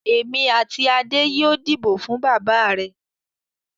Èmi àti Adé yóò dìbò fún bàbá rẹ̀.